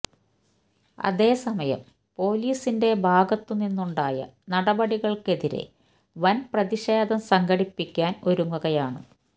അതേസമയം പൊലിസിന്റെ ഭാഗത്തു നിന്നുണ്ടായ നടപടികള്ക്കെതിരേ വന് പ്രതിഷേധം സംഘടിപ്പിക്കാന് ഒരുങ്ങുകയാണ്